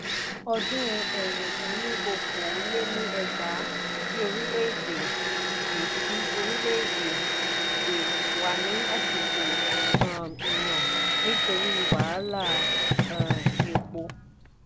odun ẹ̀rin dín ní okòó-lé-ní-ẹgbàá tí orílè-èdè de tí orílè-èdè de wá ní àsìkò um ìyàn nítorí wàhálà um èpò.